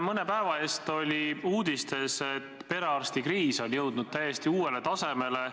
Mõne päeva eest oli uudistes, et perearstikriis on jõudnud täiesti uuele tasemele.